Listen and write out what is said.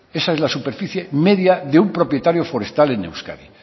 esa es la superficie media de un propietario forestal en euskadi